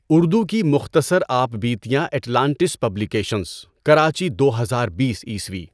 اُردُو کی مختصر آپ بیتیاں اٹلانٹس پبلی کیشنز، کراچی دو ہزار بیس عیسوی